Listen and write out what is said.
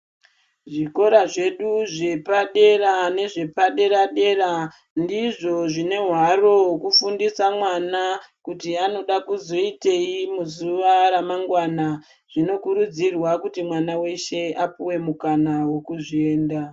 Zvikora zvedu zvepadera nezvepadera dera ndizvo zvine hwaro hwekufundisa mwana kuti anoda kuzoitei muzuva remangwana zvinokurudzirwa kuti mwana weshe apuwe mukana wekuzvienda.